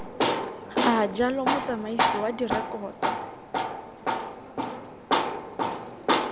a jalo motsamaisi wa direkoto